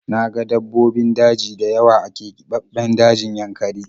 Na ga dabbobin daji dayawa a kebabben dajin yankari